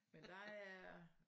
Men der er